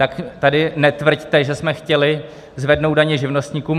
Tak tady netvrďte, že jsme chtěli zvednout daně živnostníkům.